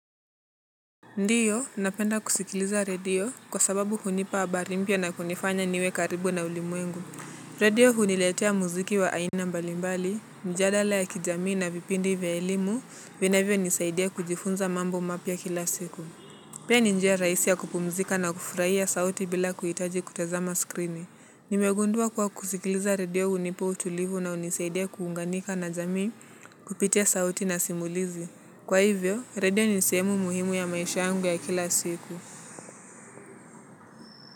Ndio, napenda kusikiliza redio kwa sababu hunipa habari mpya na kunifanya niwe karibu na ulimwengu. Redio huniletea muziki wa aina mbalimbali, mjadala ya kijamii na vipindi vya ilimu, vinavyonisaidia kujifunza mambo mapya kila siku. Pia ni njia rahisi ya kupumzika na kufurahia sauti bila kuhitaji kutazama skrini. Nimegundua kuwa kusikiliza radio hunipa utulivu na hunisaidia kuunganika na jamii kupitia sauti na simulizi. Kwa hivyo, redio ni sehemu muhimu ya maisha yangu ya kila siku.